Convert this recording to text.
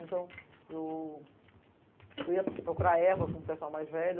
Então, eu ia procurar erva com o pessoal mais velho.